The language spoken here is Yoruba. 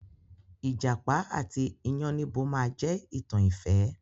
Ìjàpá àti iyánníbo máa je ìtàn ìfẹ́.